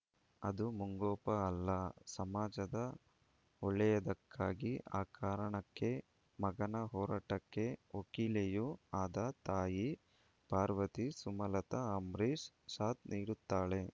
ಅದು ಮುಂಗೋಪ ಅಲ್ಲ ಸಮಾಜದ ಒಳ್ಳೆಯದಕ್ಕಾಗಿ ಆ ಕಾರಣಕ್ಕೆ ಮಗನ ಹೋರಾಟಕ್ಕೆ ವಕೀಲೆಯೂ ಆದ ತಾಯಿ ಪಾರ್ವತಿ ಸುಮಲತಾ ಅಂಬರೀಶ್‌ ಸಾಥ್‌ ನೀಡುತ್ತಾಳೆ